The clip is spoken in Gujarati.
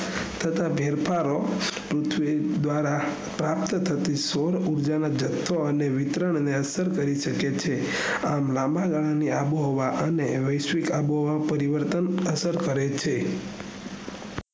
થતા ફેરફારો પૃથ્વી દ્વારા પ્રાપ્ત થતી સોર ઉર્જાનો જથ્થો અને વિતરણ ને અસર કરી શકે છે આમ લાંબા ગાળા ની આંબો હવા અને વૈશ્વિક આંબો હવા પરિવર્તન અસર કરે છે